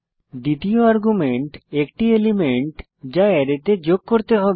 দ্বিতীয় আর্গুমেন্ট একটি এলিমেন্ট যা অ্যারেতে যোগ করতে হবে